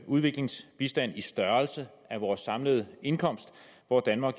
udviklingsbistand i størrelse af vores samlede indkomst hvor danmark